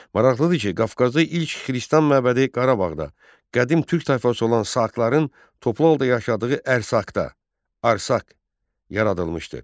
Maraqlıdır ki, Qafqazda ilk xristian məbədi Qarabağda, qədim türk tayfası olan Saqların toplu halda yaşadığı Ərsakda, Arsaq yaradılmışdı.